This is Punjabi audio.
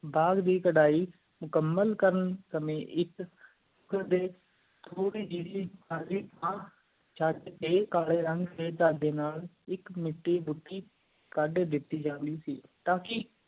ਬਾਗ਼ ਦੀ ਕਰੈ ਮੁਕੰਮਲ ਕਰਨ ਸਾਮੀ ਥੋੜੀ ਜੀ ਖਾਲੀ ਚੈਟ ਤੇ ਕਾਲੀ ਢੰਗ ਨਾ ਇਕ ਮਿੱਟੀ ਡੁਕੀ ਗਾਦ ਦਿਤੀ ਜਾਂਦੀ ਸੀ ਤਾ ਕਿ